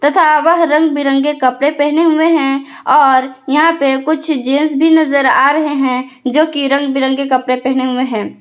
तथा वह रंग बिरंगे कपड़े पहने हुए हैं और यहां पे कुछ जेंस भी नजर आ रहे हैं जो की रंग बिरंगे कपड़े पहने हुए हैं।